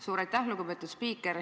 Suur aitäh, lugupeetud spiiker!